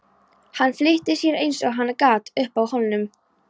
Hann flýtti sér eins og hann gat upp að hólnum.